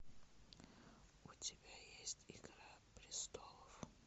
у тебя есть игра престолов